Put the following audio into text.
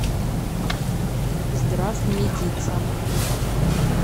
здравмедица